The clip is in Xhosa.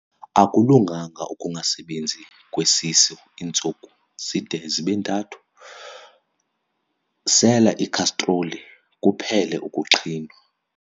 Akulunganga ukungasebenzi kwesisu iintsuku zide zibe ntathu, sela ikhastroli kuphele ukuqhinwa.